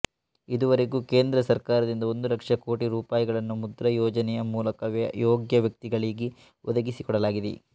ಇದುವರೆಗೂ ಕೇಂದ್ರ ಸರ್ಕಾರದಿಂದ ಒಂದು ಲಕ್ಷ ಕೋಟಿ ರೂಪಾಯಿಗಳನ್ನು ಮುದ್ರಾ ಯೋಜನೆಯ ಮೂಲಕ ಯೋಗ್ಯ ವ್ಯಕ್ತಿಗಳಿಗೆ ಒದಗಿಸಿಕೊಡಲಾಗಿದೆ